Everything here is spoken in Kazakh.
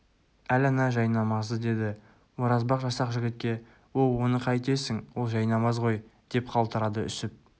әл ана жайнамазды деді оразбақ жасақ жігітке оу оны қайтесің ол жайнамаз ғой деп қалтырады үсіп